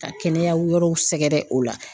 Ka kɛnɛya wɛrɛw sɛgɛrɛ o la.